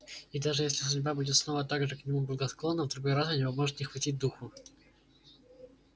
и даже если судьба будет снова так же к нему благосклонна в другой раз у него может не хватить духу